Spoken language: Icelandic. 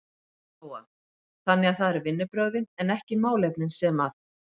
Lóa: Þannig að það eru vinnubrögðin en ekki málefnin sem að?